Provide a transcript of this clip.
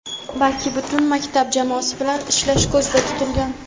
balki butun maktab jamoasi bilan ishlash ko‘zda tutilgan.